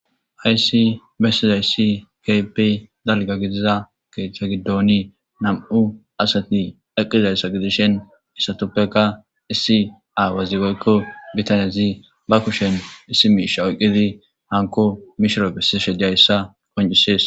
hayssi bessizayssi kapey dalga gidiza keeththa giddoni nam7u asati aqizayssa gidishen issatuppeka issi aawazigoykko bitaniyazi ba kushen issi miisha oyqqidi hanko mishiro bessishe jayssa koncisees